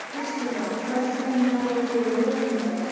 Kristína, ferð þú með okkur á mánudaginn?